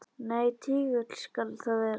Nei, tígull skal það vera.